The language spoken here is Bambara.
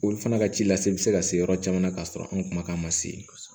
Olu fana ka ci lase bɛ se ka se yɔrɔ caman na k'a sɔrɔ anw kumakan ma se